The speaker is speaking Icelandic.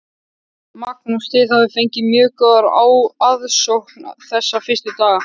Magnús: Þið hafið fengið mjög góða aðsókn þessa fyrstu daga?